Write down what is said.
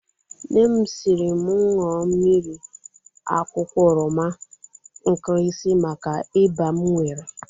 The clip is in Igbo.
Nnem siri m ñua mmiri akwụkwọ oroma nkrisi maka iba m nwere.